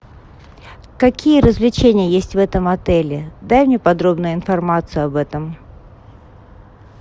какие развлечения есть в этом отеле дай мне подробную информацию об этом